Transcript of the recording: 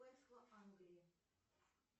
англии